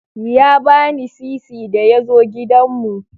Ya bani sisi da ya zo gidanmu.